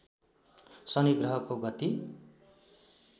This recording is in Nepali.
शनि ग्रहको गति